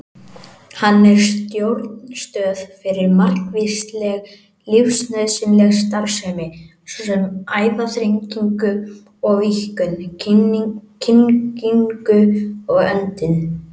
Hann er stjórnstöð fyrir margvíslega lífsnauðsynlega starfsemi, svo sem æðaþrengingu og-víkkun, kyngingu og öndun.